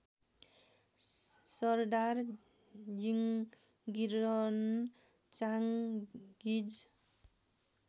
सरदार जिङगिरहन चाङगिज